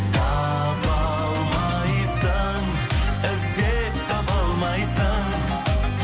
таба алмайсың іздеп таба алмайсың